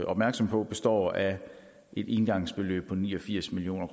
opmærksom på består af et engangsbeløb på ni og firs million